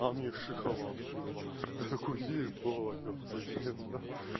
она мне шоколадку дала я такой ебать ахуенно